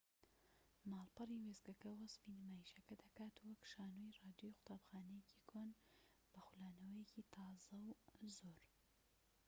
ماڵپەڕی وێستگەکە وەسفی نمایشەکە دەکات وەک شانۆی ڕادیۆی قوتابخانەیەکی کۆن بە خولانەوەیەکی تازە و زۆر